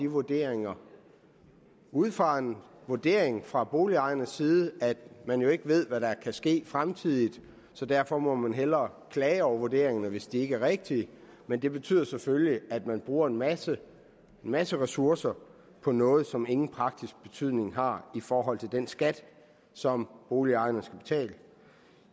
vurderinger ud fra den vurdering fra boligejernes side at man jo ikke ved hvad der kan ske fremtidigt så derfor må man hellere klage over vurderingerne hvis de ikke er rigtige men det betyder selvfølgelig at man bruger en masse masse ressourcer på noget som ingen praktisk betydning har i forhold til den skat som boligejerne skal betale